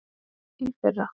Í fyrra.